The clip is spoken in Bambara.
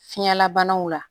Fiɲɛlabanaw la